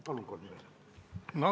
Palun kolm minutit juurde!